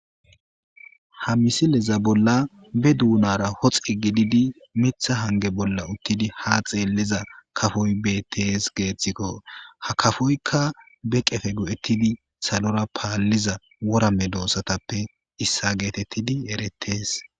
ha misileza bolla be duunara hoxi gididi mitha hange bolla uttidi ha xeelliza kafoy bettees geeththikko ha kafoykka be qefe go7ettidi salora paalliza worame doossatappe issa geetettidi erettees